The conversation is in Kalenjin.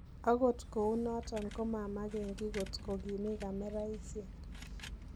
Agot kounoton komamangegi kotgogimii kameraisiek.